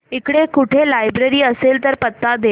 इकडे कुठे लायब्रेरी असेल तर पत्ता दे